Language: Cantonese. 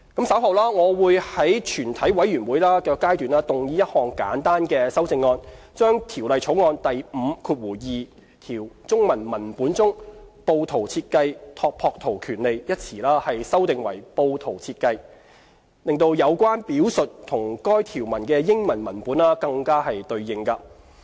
稍後，我會在全體委員會階段動議一項簡單的修正案，把《條例草案》第52條中文文本中"布圖設計權利"一詞修訂為"布圖設計"，使有關表述與該條文的英文文本更為對應。